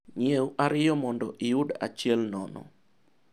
nyiew ariyo mondo iyud achiel nono,